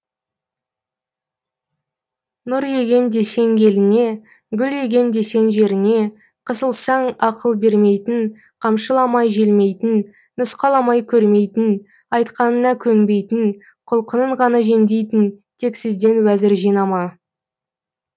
нұр егем десең еліңе гүл егем десең жеріңе қысылсаң ақыл бермейтін қамшыламай желмейтін нұсқаламай көрмейтін айтқаныңа көнбейтін құлқынын ғана жемдейтін тексізден уәзір жинама